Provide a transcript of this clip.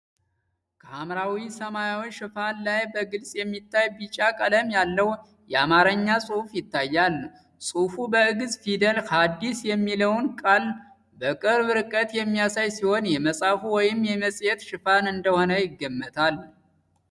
ከሐምራዊ ሰማያዊ ሽፋን ላይ በግልጽ የሚታይ ቢጫ ቀለም ያለው አማርኛ ጽሑፍ ይታያል። ጽሑፉ በግእዝ ፊደል "ሃዲስ" የሚለውን ቃል በቅርብ ርቀት የሚያሳይ ሲሆን፣ የመጽሐፍ ወይም የመጽሔት ሽፋን እንደሆነ ይገመታል።